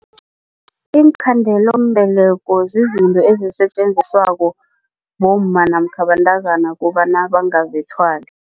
Iinkhandelambeleko zizinto ezisetjenziswa bomma namkha bentazana kobana bangazithwali.